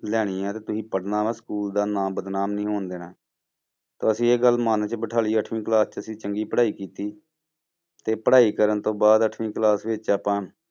ਲੈਣੀ ਆ ਤੇ ਤੁਸੀਂ ਪੜ੍ਹਨਾ ਵਾ school ਦਾ ਨਾਂ ਬਦਨਾਮ ਨੀ ਹੋਣ ਦੇਣਾ, ਤੇ ਅਸੀਂ ਇਹ ਗੱਲ ਮਨ 'ਚ ਬਿਠਾ ਲਈ ਅੱਠਵੀਂ class 'ਚ ਅਸੀਂ ਚੰਗੀ ਪੜ੍ਹਾਈ ਕੀਤੀ, ਤੇ ਪੜ੍ਹਾਈ ਕਰਨ ਤੋਂ ਬਾਅਦ ਅੱਠਵੀਂ class ਵਿੱਚ ਆਪਾਂ